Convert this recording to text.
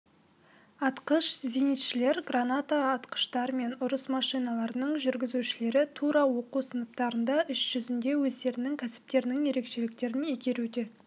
атқыш-зенитшілер граната атқыштар мен ұрыс машиналарының жүргізушілері тура оқу сыныптарында іс жүзінде өздерінің кәсіптерінің ерекшеліктерін игеруде